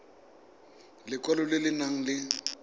lekwalo le le nang le